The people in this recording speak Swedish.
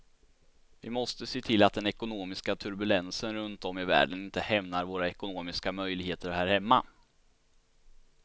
Vi måste se till att den ekonomiska turbulensen runt om i världen inte hämmar våra ekonomiska möjligheter här hemma.